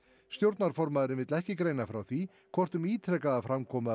stjórnarformaðurinn vill ekki greina frá því hvort um ítrekaða framkomu af